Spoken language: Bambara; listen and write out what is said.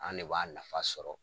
An ne b'a nafa sɔrɔ.